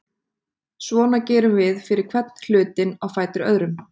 Svona gerum við fyrir hvern hlutinn á fætur öðrum.